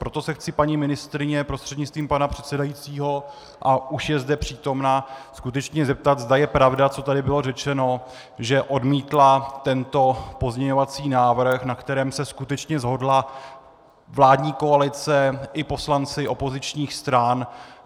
Proto se chci paní ministryně prostřednictvím pana předsedajícího, a už je zde přítomna, skutečně zeptat, zda je pravda, co tady bylo řečeno, že odmítla tento pozměňovací návrh, na kterém se skutečně shodla vládní koalice i poslanci opozičních stran.